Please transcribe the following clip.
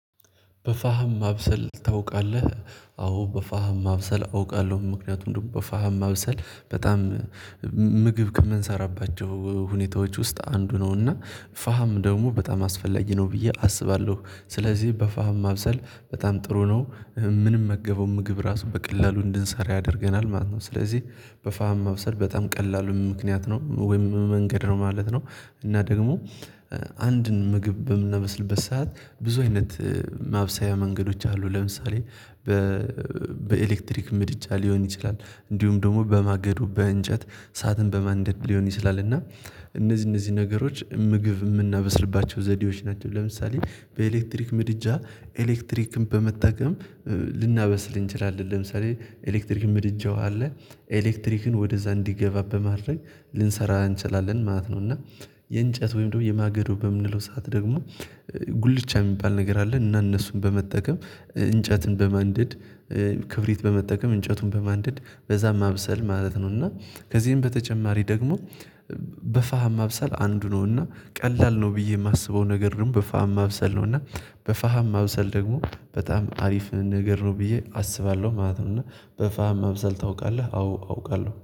በፋህም ማብሰል ታውቃለህ? አዎ በፋህም ማብሰል አውቃለሁ ምክንያቱም ደግሞ በፋህም ማብሰል በጣም ምግብ ከምንሰራባቸው ሁኔታዎች ውስጥ አንዱ ነው እና ፋም ደግሞ በጣም አስፈላጊ ነው ብዬ አስባለሁ ስለዚህ በፋህም ማብሰል በጣም ጥሩ ነው። ምንመገበው ምግብ ራሱ በቀላሉ እንድንሰራ ያደርገናል ማለት ነው። ስለዚህ በፋህም መብሰር በጣም ቀላሉም ምክንያት ነው ወይም መንገድ ነው ማለት ነው። እና ደግሞ አንድን ምግብ በምናመስልበት ሰዓት ብዙ አይነት ማብሰያ መንገዶች አሉ። ለምሳሌ በኤሌክትሪክ ምድጃ ሊሆን ይችላል፤ እንዲሁም ደግሞ በማገዱ በእንጨት ሰዓትን በማንደድ ሊሆን ይችላልና እነዚህ እነዚህ ነገሮች ምግብ የምናበስርባቸው ዘዴዎች ናቸው። ለምሳሌ በኤሌክትሪክ ምድጃ ኤሌክትሪክን በመጠቀም ልናበስል እንችላለን። ለምሳሌ ኤሌክትሪክ ምድጃው አለ ኤሌክትሪክን ወደዛ እንዲገባ በማድረግ ልንሰራ እንችላለን ማለት ነው እና የእንጨት ወይም ደግሞ የማገዶ በምንለው ሰዓት ደግሞ ጉልቻ የሚባል ነገር አለን እና እነሱን በመጠቀም እንጨትን በማንደድ ክብሪት በመጠቀም እንጨቱን በማንደድ በዛ ማብሰል ማለት ነው። እና ከዚህም በተጨማሪ ደግሞ በፋህ ማብሰል አንዱ ነው እና ቀላል ነው ብዬ የማስበው ነገር ደግሞ በፋህም ማብሰል ነው። እና በፋህም ማብሰል ደግሞ በጣም አሪፍ ነው ነገር ነው ብዬ አስባለሁ ማለት ነው። እና በፋህም መብሰል ታውቃለህ? አዎ አውቃለሁ።